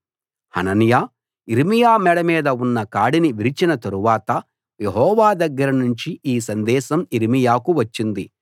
హనన్యా యిర్మీయా మెడ మీద ఉన్న కాడిని విరిచిన తరువాత యెహోవా దగ్గర నుంచి ఈ సందేశం యిర్మీయాకు వచ్చింది